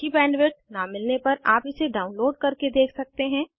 अच्छी बैंडविड्थ न मिलने पर आप इसे डाउनलोड करके देख सकते हैं